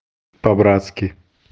по-братски